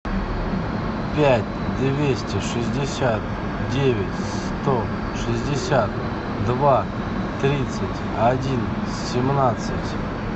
пять двести шестьдесят девять сто шестьдесят два тридцать один семнадцать